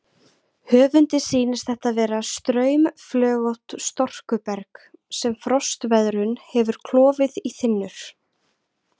Höfundi sýnist þetta vera straumflögótt storkuberg sem frostveðrun hefur klofið í þynnur.